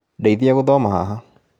Ndeithia gũthoma haha